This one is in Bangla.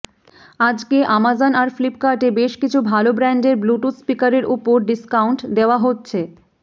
আজকে অ্যামাজন আর ফ্লিপকার্টে বেশ কিছু ভাল ব্র্যান্ডের ব্লুটুথ স্পিকারের ওপর ডিস্কাউন্ট দেওয়া হচ্ছে